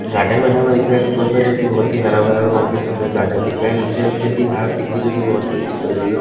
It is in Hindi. गार्डन बना हुआ दिख रहा है स्कूल का जो कि बहुत ही हरा भरा और बहुत ही सुंदर गार्डन दिख रहा है नीचे हल्की हल्की घास दिख रही है जो कि बहुत ही अच्छी लग रही है।